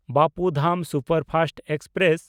Bapu Dham superfast express